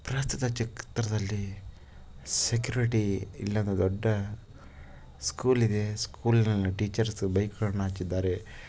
ಭಾರತದ ಚೆಕ್ ದರದಲ್ಲಿ ಸೆಕ್ಯುರಿಟಿ ಇಲ್ಲದ ದೊಡ್ಡ ಸ್ಕೂಲ್ ಇದೆ ಸ್ಕೂಲ್ ಅಲ್ಲಿ ಟೀಚರ್ಸು ಬೈಕಗಳನ್ನ ಹಾಕಿದ್ದಾರೆ.